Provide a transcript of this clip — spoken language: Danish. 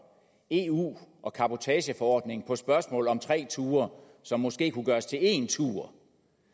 eu og cabotageforordningen på spørgsmålet om tre ture som måske kunne gøres til én tur